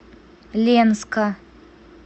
ленска